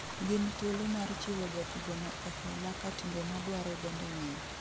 Gin thuolo mar chiwo jatugo no e hola ka timbe maduare bende ng'eny